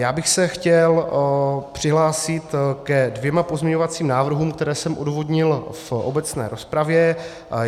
Já bych se chtěl přihlásit ke dvěma pozměňovacím návrhům, které jsem odůvodnil v obecné rozpravě.